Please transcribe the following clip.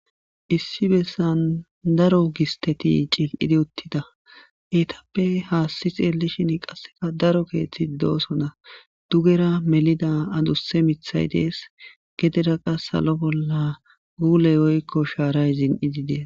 Issi bessan daro gistteti cillilidi shiqidi uttida. Ettappe hassi xeelishin qasse miithati de'osonna. Dugera melida addusse miithati de'es.gedera qasse salo bolla gulley woykko shaaray zin'idees.